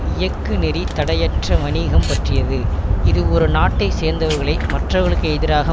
இயக்கு நெறி தடையற்ற வணிகம் பற்றியது இது ஒரு நாட்டை சேர்ந்தவர்களை மற்றவர்களுக்கு எதிராக